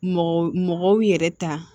Mɔgɔ mɔgɔw yɛrɛ ta